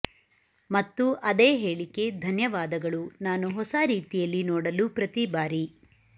ಮತ್ತು ಅದೇ ಹೇಳಿಕೆ ಧನ್ಯವಾದಗಳು ನಾನು ಹೊಸ ರೀತಿಯಲ್ಲಿ ನೋಡಲು ಪ್ರತಿ ಬಾರಿ